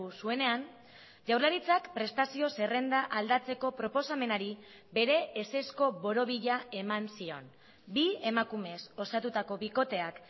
zuenean jaurlaritzak prestazio zerrenda aldatzeko proposamenari bere ezezko borobila eman zion bi emakumez osatutako bikoteak